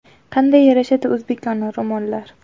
Qanday yarashadi o‘zbekona ro‘mollar.